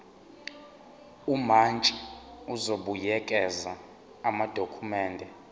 umantshi uzobuyekeza amadokhumende